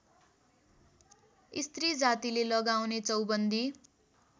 स्त्रीजातिले लगाउने चौबन्दी